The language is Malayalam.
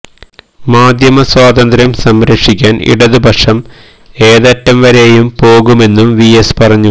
മാധ്യമ സ്വാതന്ത്ര്യം സംരക്ഷിക്കാന് ഇടതുപക്ഷം ഏതറ്റം വരേയും പോകുമെന്നും വി എസ് പറഞ്ഞു